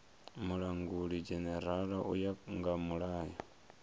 mulangulidzhenerala u ya nga mulayo